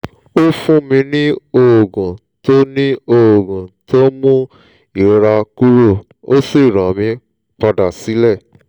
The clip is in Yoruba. ó fún mi ní oògùn tó ní oògùn tó ń mú ìrora kúrò ó sì rán mi padà sílé